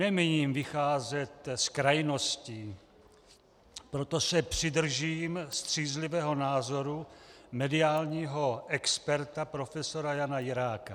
Nemíním vycházet z krajností, proto se přidržím střízlivého názoru mediálního experta profesora Jana Jiráka.